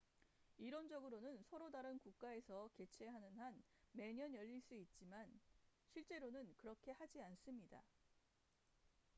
이론적으로는 서로 다른 국가에서 개최하는 한 매년 열릴 수 있지만 실제로는 그렇게 하지 않습니다